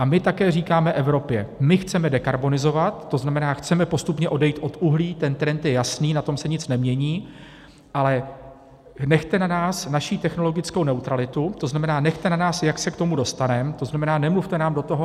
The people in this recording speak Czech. A my také říkáme Evropě: my chceme dekarbonizovat, to znamená, chceme postupně odejít od uhlí, ten trend je jasný, na tom se nic nemění, ale nechte na nás naši technologickou neutralitu, to znamená, nechte na nás, jak se k tomu dostaneme, to znamená, nemluvte nám do toho.